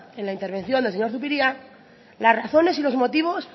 en la intervención del señor zupiria las razones y los motivos